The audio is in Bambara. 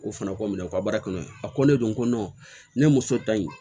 O fana ko minɛ u ka baara kɔnɔ a ko ne don ko ne muso ta in